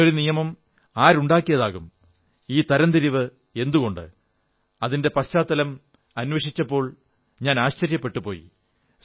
ഇങ്ങനെയൊരു നിയമം ആരുണ്ടാക്കിയതാകും ഈ തരംതിരിവ് എന്തുകൊണ്ട് അതിന്റെ പശ്ചാത്തലം അന്വേഷിച്ചപ്പോൾ ഞാൻ ആശ്ചര്യപ്പെട്ടുപോയി